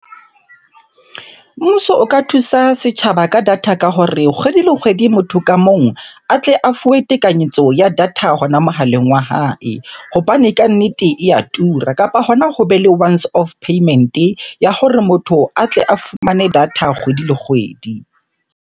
Mmuso o ka thusa setjhaba ka data ka hore, kgwedi le kgwedi motho ka mong a tle a fuwe tekanyetso ya data hona mohaleng wa hae hobane kannete e ya tura. Kapa hona hobe le once off payment-e ya hore motho a tle a fumane data kgwedi le kgwedi.